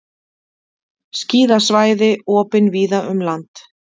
Skíðasvæði opin víða um land